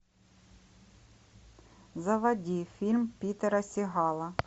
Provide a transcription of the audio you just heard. заводи фильм питера сигала